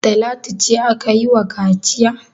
Talatu ce aka yi wa kaciya?